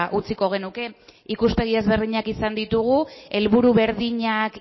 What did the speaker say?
utziko genuke ikuspegi ezberdinak izan ditugu helburu berdinak